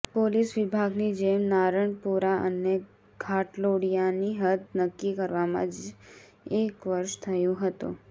police વિભાગની જેમ નારણપુરા અને ઘાટલોડીયા ની હદ નકકી કરવામાં જ એક વર્ષ થયું હતું